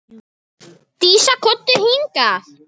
Dísa, komdu hingað!